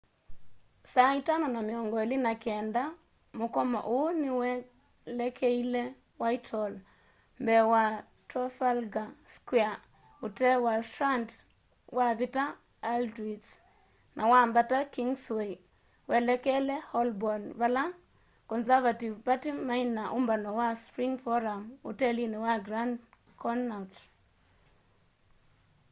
saa ĩtano na mĩongo ĩlĩ na kenda mũkomo ũu nĩ welekeĩle whitehall mbee wa trafalgar square ũtee wa strand wavita aldwych na wambata kingsway welekele holborn vala conservative party maina na ũmbano wa spring forum utelini wa grand connaught